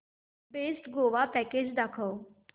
best Goa package दाखव